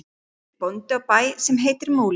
Hann er bóndi á bæ sem heitir Múli.